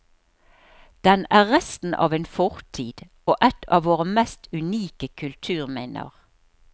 Den er resten av en fortid, og et av våre mest unike kulturminner.